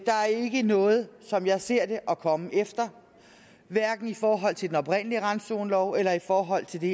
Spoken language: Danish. der er ikke noget som jeg ser det at komme efter hverken i forhold til den oprindelige randzonelov eller i forhold til det